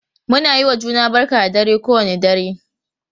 Muna yiwa juna barka da dare kowane dare.,